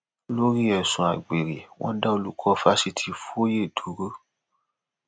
lórí ẹsùn àgbèrè wọn dá olùkọ fáṣítì fùye dúró